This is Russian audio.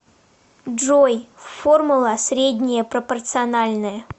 джой формула среднее пропорциональное